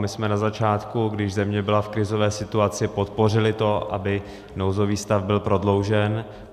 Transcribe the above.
My jsme na začátku, když země byla v krizové situaci, podpořili to, aby nouzový stav byl prodloužen.